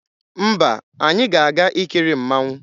Mba, anyị ga-aga ikiri mmanwụ.